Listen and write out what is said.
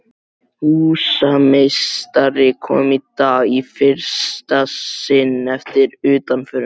Húsameistari kom í dag í fyrsta sinn eftir utanförina.